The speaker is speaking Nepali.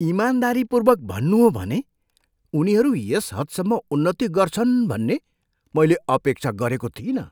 इमानदारीपूर्वक भन्नु हो भने उनीहरू यस हदसम्म उन्नति गर्छन् भन्ने मैले अपेक्षा गरेको थिइनँ।